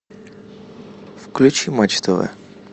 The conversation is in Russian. включи матч тв